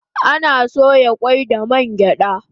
Ana soya kwai da man gyada